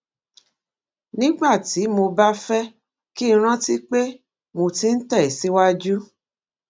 nígbà tí mo bá fé kí n rántí pé mo ti ń tè síwájú